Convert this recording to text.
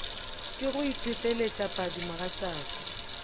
ke go itefelet padi mogatšaka